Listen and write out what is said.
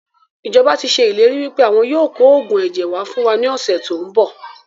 Ìjọba tíì ṣe ìlérí wípé àwọn yìí ó kò oògùn ẹ̀jẹ̀ wá fún wa ní ọ̀sẹ̀ tòun bọ̀